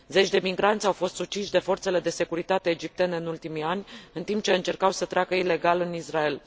Zeci de migranți au fost uciși de forțele de securitate egiptene în ultimii ani în timp ce încercau să treacă ilegal în Israel.